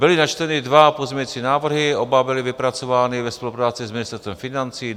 Byly načteny dva pozměňovací návrhy, oba byly vypracovány ve spolupráci s Ministerstvem financí.